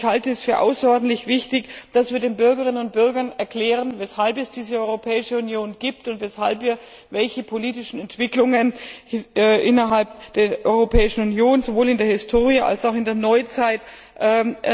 Ich halte es für außerordentlich wichtig, dass wir den Bürgerinnen und Bürgern erklären, weshalb es diese Europäische Union gibt und weshalb wir welche politischen Entwicklungen innerhalb der Europäischen Union, sowohl in der Historie als auch in der Neuzeit, einleiten.